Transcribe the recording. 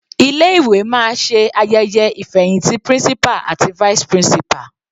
Ilé ìwé máa ṣe ayẹyẹ ìfẹhìntì principal àti vice principal.